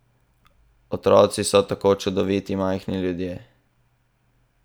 Otroci so tako čudoviti majhni ljudje!